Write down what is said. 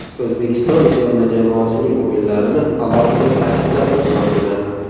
O‘zbekiston terma jamoasining o‘yinlarini alohida ta’kidlab o‘tmoqchiman.